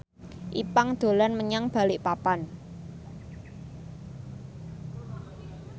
Ipank dolan menyang Balikpapan